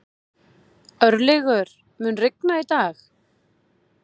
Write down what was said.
Örlygur, mun rigna í dag?